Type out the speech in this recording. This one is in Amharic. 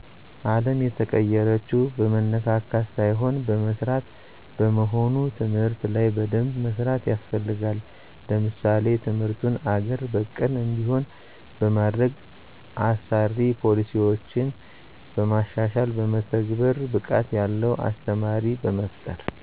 አለም የተቀየረችው በመነካካት ሳይሆን በመስራት በመሆኑ ትምህርት ላይ በደንብ መስራት ያስፈልጋል። ለምሳሌ ትምርቱን አገር በቀል እንዲሆን በማድረግ፣ አሳሪ ፖሊሲዮችን በማሻሻልና በመተግበር፣ ብቃት ያለው አስተማሪ በመፍጠር